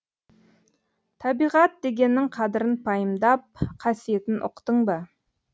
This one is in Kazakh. табиғат дегеннің қадірін пайымдап қасиетін ұқтың ба